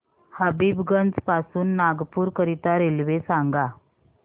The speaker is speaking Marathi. हबीबगंज पासून नागपूर करीता रेल्वे सांगा